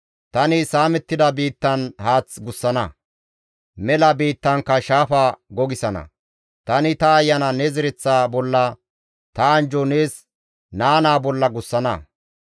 Tani saamettida biittan haath gussana; mela biittankka shaafa gogisana. Tani ta Ayana ne zereththa bolla, ta anjjo nees naa naa bolla gussana.